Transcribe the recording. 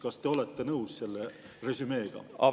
Kas te olete nõus selle resümeega?